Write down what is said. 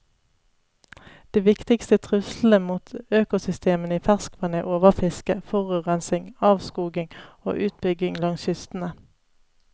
De viktigste truslene mot økosystemene i ferskvann er overfiske, forurensning, avskoging og utbygging langs kystene.